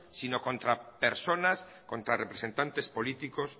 sino contra personas contra representantes políticos